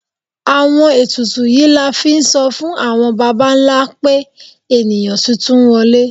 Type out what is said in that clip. Àwọn etùtù yíí la n fí n so fun awọn bàbá ńlá pe eníyan titun wọle